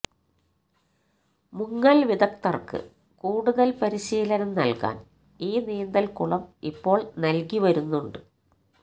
മുങ്ങൽ വിദഗ്ദ്ധർക്ക് കൂടുതൽ പരിശീലനം നൽകാൻ ഈ നീന്തൽക്കുളം ഇപ്പോൾ നൽകി വരുന്നുണ്ട്